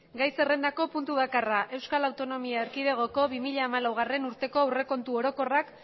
gai zerrendako punto bakarra euskal autonomia erkidegoko bi mila hamalaugarrena urteko aurrekontu orokorrak